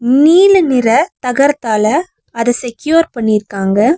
நீல நிற தகரத்தால அத செக்யூர் பண்ணிருக்காங்க.